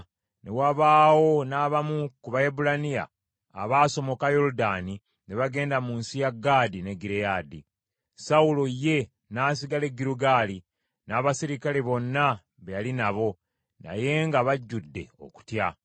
Ne wabaawo n’abamu ku Baebbulaniya abaasomoka Yoludaani ne bagenda mu nsi ya Gaadi ne Gireyaadi. Sawulo ye n’asigala e Girugaali, n’abaserikale bonna be yali nabo, naye nga bajjudde okutya.